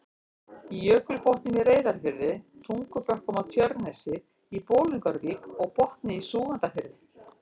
í Jökulbotnum í Reyðarfirði, Tungubökkum á Tjörnesi, í Bolungarvík og Botni í Súgandafirði.